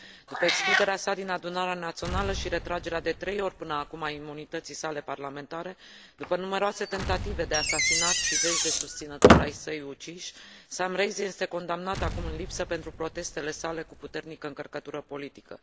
După excluderea sa din adunarea națională și retragere de trei ori până acum a imunității sale parlamentare, după numeroase tentative de asasinat și zeci de susținători ai săi uciși, Sam Rainsy este condamnat acum în lipsă pentru protestele sale cu puternică încărcătură politică.